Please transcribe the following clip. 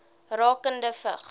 rakende vigs